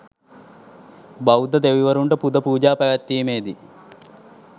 බෞද්ධ දෙවිවරුන්ට පුද පූජා පැවැත්වීමේ දී